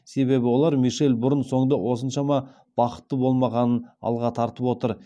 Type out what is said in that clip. себебі олар мишель бұрын соңды осыншама бақытты болмағанын алға тартып отыр